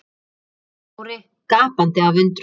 spurði Smári gapandi af undrun.